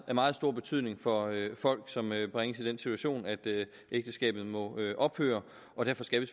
meget stor betydning for folk som bringes i den situation at ægteskabet må ophøre og derfor skal vi